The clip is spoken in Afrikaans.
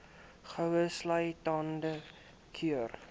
goue sultana keur